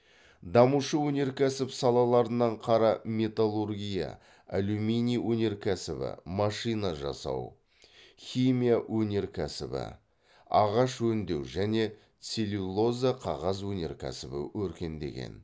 дамушы өнеркәсіп салаларынан қара металлургия алюминий өнеркәсібі машина жасау химия өнеркәсібі ағаш өндеу және целлюлоза қағаз өнеркәсібі өркендеген